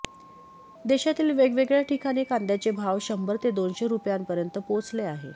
देशातील वेगवेगळ्या ठिकाणी कांद्याचे भाव शंभर ते दोनशे रुपयांपर्यंत पोहोचले आहे